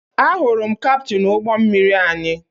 Ahụrụ m kaptịn ụgbọ mmiri anyị